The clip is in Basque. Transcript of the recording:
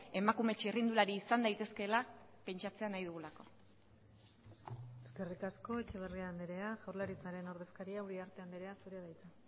emakume txirrindulari izan daitezkeela pentsatzea nahi dugulako eskerrik asko etxeberria andrea jaurlaritzaren ordezkaria uriarte andrea zurea da hitza